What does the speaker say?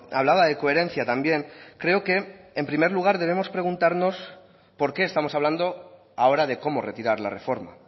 hablaba de coherencia también creo que en primer lugar debemos preguntarnos por qué estamos hablando ahora de cómo retirar la reforma